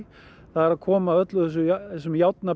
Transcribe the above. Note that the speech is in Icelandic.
er að koma öllum þessum